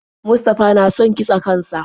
Mustafa na son kitse kan sa.